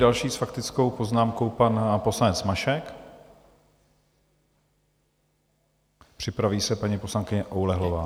Další s faktickou poznámkou pan poslanec Mašek, připraví se paní poslankyně Oulehlová.